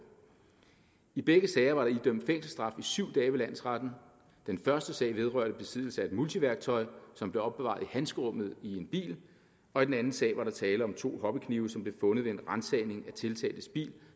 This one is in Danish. i begge sager var der idømt fængselsstraffe i syv dage ved landsretten den første sag vedrørte besiddelse af et multiværktøj som blev opbevaret i handskerummet i en bil og i den anden sag var der tale om to hobbyknive som blev fundet ved en ransagning af tiltaltes bil